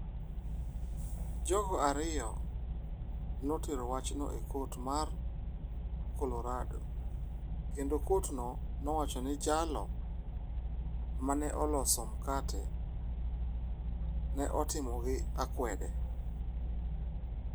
Jogo ariyo notero wachno e kot mar Colorado kendo kotno nowacho ni jalo ma ne oloso mkate ne otimogi akwede.